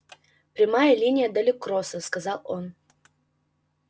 прямая линия до люксора сказал он